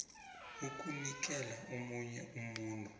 ukunikela omunye umuntu